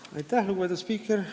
Aitäh, lugupeetud spiiker!